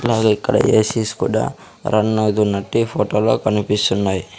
అలాగే ఇక్కడ ACs కూడా రన్ అవుతున్నట్టు ఈ ఫోటోలో కనిపిస్తున్నాయి.